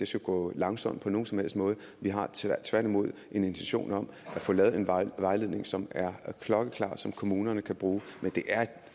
skal gå langsomt på nogen som helst måde vi har tværtimod en intention om at få lavet en vejledning som er klokkeklar og som kommunerne kan bruge men det er et